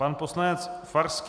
Pan poslanec Farský.